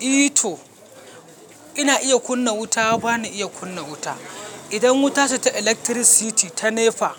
I to ina iya kunna wuta ba na iya kunna wuta. Idan wuta ce ta electricity ta NEPA,